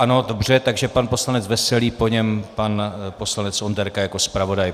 Ano, dobře, takže pan poslanec Veselý, po něm pan poslanec Onderka jako zpravodaj.